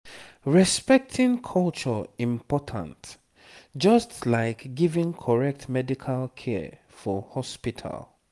respecting culture important just like giving correct medical care for hospital